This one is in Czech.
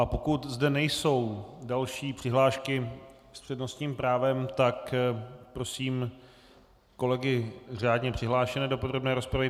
A pokud zde nejsou další přihlášky s přednostním právem, tak prosím kolegy řádně přihlášené do podrobné rozpravy.